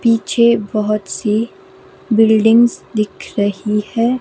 पीछे बहुत सी बिल्डिंग्स दिख रही है।